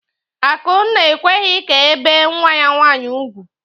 Akụnna ekweghị ka ebee nwa ya nwaanyị ugwu.